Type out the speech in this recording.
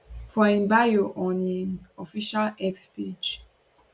for im bio on im official x page